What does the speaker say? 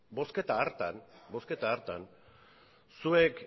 bozketa hartan zuek